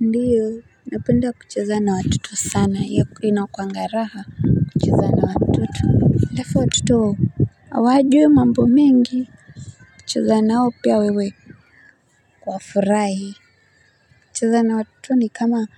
Ndiyo napenda kuchuzana na watoto sana ya inakuanga raha kucheza na watoto alafu watoto hawajui mambo mengi ukicheza nao piwa wewe wafurahi. Kucheza na watoto ni kama